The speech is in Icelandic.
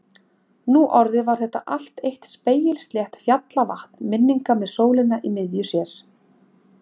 Nú orðið var þetta allt eitt spegilslétt fjallavatn minninga með sólina í miðju sér.